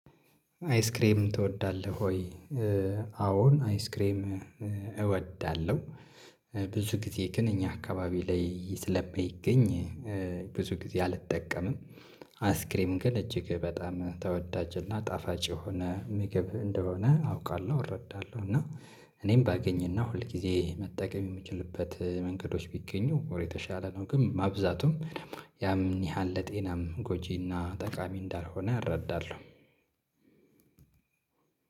አይስክሬም ትወዳለሁ ወይ? አዎን አይስክሬም እወዳለሁ። ብዙ ጊዜ እእኛ አካባቢ ላይ ስለማይገኝ ብዙ ጊዜ አልጠቀምም። አስክሬም ግን እጅግ በጣም ተወዳጅና ጣፋጭ የሆነ ምግብ እንደሆነ አውቃለሁ እረዳለሁ እና እኔም ባገኝና ሁል ጊዜ መጠቀም የምችልበት መንገዶች ቢገኙ ወር የተሻለ ነው ግን ማብዛቱም ያን ያህል ለጤናም ጎጂና ጠቃሚ እንዳልሆነ አረዳለሁ።